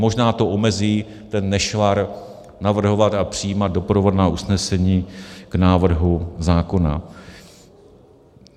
Možná to omezí ten nešvar navrhovat a přijímat doprovodná usnesení k návrhu zákona.